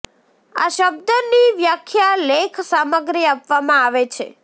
આ શબ્દ ની વ્યાખ્યા લેખ સામગ્રી આપવામાં આવે છે